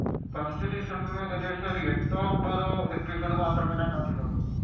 first season ഏകദേശം ഒരു എട്ടോ ഒൻപതു എപ്പിസോഡ് മാത്രമേ ഞാൻ കണ്ടിട്ടുള്ളു.